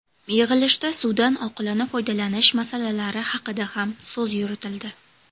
Yig‘ilishda suvdan oqilona foydalanish masalalari haqida ham so‘z yuritildi.